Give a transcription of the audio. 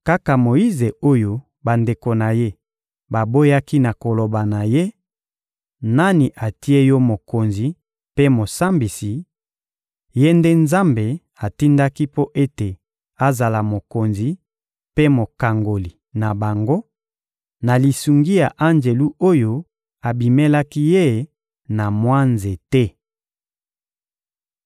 Kaka Moyize oyo bandeko na ye baboyaki na koloba na ye: «Nani atie yo mokonzi mpe mosambisi,» ye nde Nzambe atindaki mpo ete azala mokonzi mpe mokangoli na bango, na lisungi ya anjelu oyo abimelaki ye na mwa nzete.